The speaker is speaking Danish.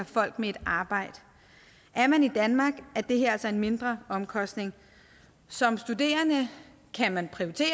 folk med et arbejde er man i danmark er det her altså en mindre omkostning som studerende kan man prioritere